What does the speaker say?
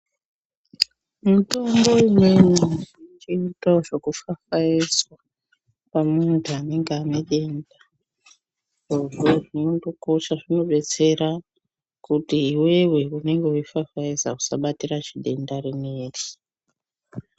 Mitombo imweni ,inoitawo zvekufafaezwa, pamuntu anenga ane denda. Zvirozvo zvinondokosha zvinodetsera, kuti iwewe unenge weifafaeza usabatira zvidenda rineri.